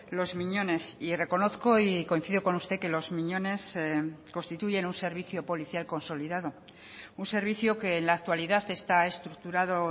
los miñones y reconozco y coincido con usted que los miñones constituyen un servicio policial consolidado un servicio que en la actualidad está estructurado